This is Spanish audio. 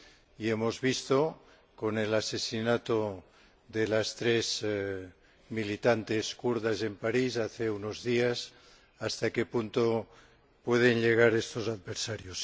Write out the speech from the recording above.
Y hemos visto, con el asesinato de las tres militantes kurdas en París, hace unos días, hasta qué punto pueden llegar estos adversarios.